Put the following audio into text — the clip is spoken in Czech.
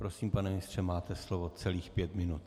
Prosím, pane ministře, máte slovo celých pět minut.